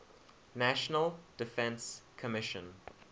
national defense commission